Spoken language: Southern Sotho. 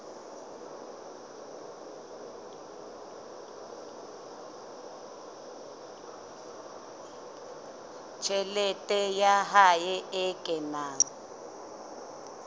tjhelete ya hae e kenang